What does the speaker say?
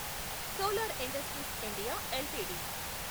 solar industries India LTD